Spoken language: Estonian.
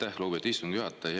Aitäh, lugupeetud istungi juhataja!